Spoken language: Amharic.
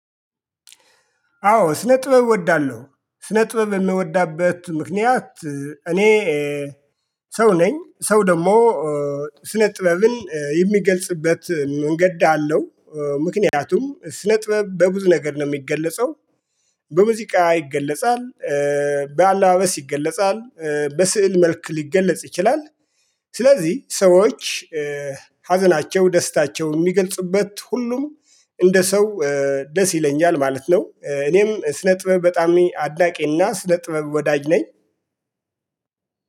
አዎ ስነጥበብ እወዳለሁ ስነጥበብ የምወድበት ምክንያት እኔ ሰው ነኝ ሰው ደግሞ ስነ ጥበብን የሚገልጽበት መንገድ አለው። ምክንያቱም ስነጥበብ በብዙ ነገር ነው የሚገለጸው። በሙዚቃ ይገለጻል። በአለባበስ ይገለጻል በስዕል መልክ ሊገለጽ ይችላል። ስለዚህ ሰዎች ሀዘናቸው ደስታቸው የሚገልጽበት ሁሉም እንደ ሰው ደስ ይለኛል ማለት ነው። እኔም ስነ ጥበብ በጣም አድናቂ እና ስነ ጥበብ ወዳጅ ነኝ።